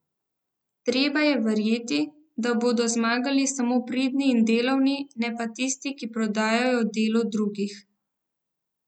Treba je verjeti, da bodo zmagali samo pridni in delovni, ne pa tisti, ki prodajajo delo drugih.